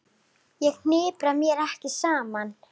Ég hnipra mig ekki saman.